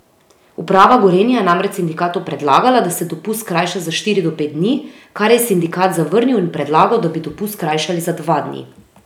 Uprava Gorenja je namreč sindikatu predlagala, da se dopust skrajša za štiri do pet dni, kar je sindikat zavrnil in predlagal, da bi dopust skrajšali za dva dni.